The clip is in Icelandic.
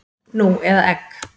Nú eða egg?